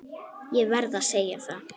Ég verð að segja það.